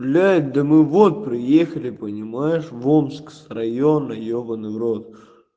блять да мы вот приехали понимаешь в омск с района ебанный в рот